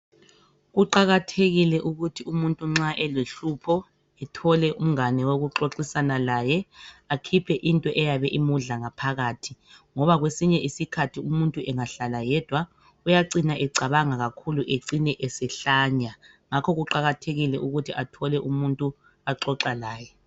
Kuqakathekile ukuthi umuntu nxa elohlupho ethole umngane wokuxoxisana laye akhiphe into eyabe imudla ngaphakathi ngoba kwesinye isikhathi umuntu engahlala yedwa uyacina ecabanga kakhulu ecine esehlanya. Ngakho kuqakathekile ukuthi athole umuntu axoxa laye.